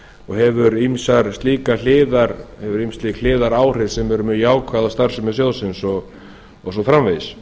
og hefur ýmis slík hliðaráhrif sem eru mjög jákvæð á starfsemi sjóðsins og svo framvegis